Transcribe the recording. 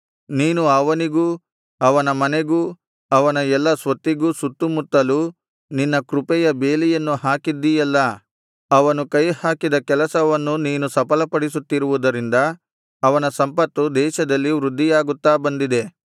ನೀನು ಅವನಿಗೂ ಅವನ ಮನೆಗೂ ಅವನ ಎಲ್ಲಾ ಸ್ವತ್ತಿಗೂ ಸುತ್ತು ಮುತ್ತಲು ನಿನ್ನ ಕೃಪೆಯ ಬೇಲಿಯನ್ನು ಹಾಕಿದ್ದೀಯಲ್ಲಾ ಅವನು ಕೈಹಾಕಿದ ಕೆಲಸವನ್ನು ನೀನು ಸಫಲಪಡಿಸುತ್ತಿರುವುದರಿಂದ ಅವನ ಸಂಪತ್ತು ದೇಶದಲ್ಲಿ ವೃದ್ಧಿಯಾಗುತ್ತಾ ಬಂದಿದೆ